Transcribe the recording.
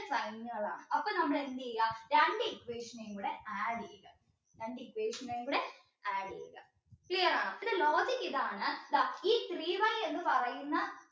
അപ്പോ നമ്മള് എന്ത് ചെയ്യാം രണ്ട് equation നേം കൂടെ add ചെയ്യാം രണ്ട് equation നേം കൂടെ add ചെയ്യാം clear ആണോ ഇതിന്റെ logic ഇതാണ് ഈ three y എന്ന് പറയുന്ന